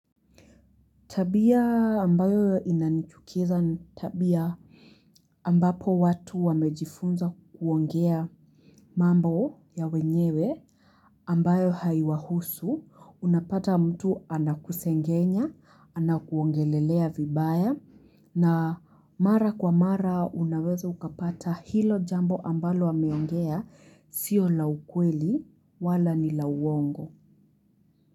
Tabia ambayo inanichukiza ni tabia ambapo watu wamejifunza kuongea mambo ya wenyewe ambayo haiwahusu unapata mtu anakusengenya anakuongelelea vibaya na mara kwa mara unaweza ukapata hilo jambo ambalo wameongea sio la ukweli wala ni la uongo.